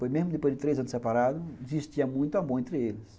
Mesmo depois de três anos separados, existia muito amor entre eles.